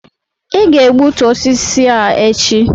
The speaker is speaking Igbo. ị ga-egbutu osisi a echi!